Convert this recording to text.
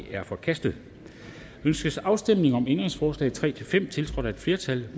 er forkastet ønskes afstemning om ændringsforslag nummer tre fem tiltrådt af et flertal